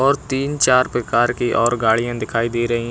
और तीन चार प्रकार की और गाड़ियां दिखाई दे रहीं--